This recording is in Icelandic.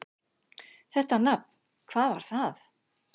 Þetta nafn: hvað var það?